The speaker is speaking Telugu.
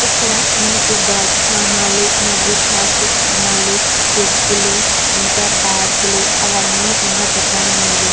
ఇక్కడ మనకి గాజు సామాన్లు మరియు ప్లాస్టిక్ సామాన్లు పువ్వులు ఇంకా బ్యాగులు అవన్నీ వున్నా దుకాణము ఇది.